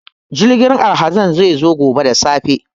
Jirgin alhazai zai zo gobe da safe.